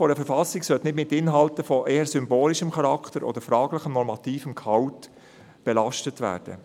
Eine Verfassung sollte nicht mit Inhalten von eher symbolischem Charakter oder fraglichem, normativem Gehalt belastet werden.